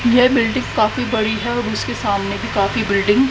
यह बिल्डिंग काफी बड़ी है और उसके सामने भी काफी बिल्डिंग --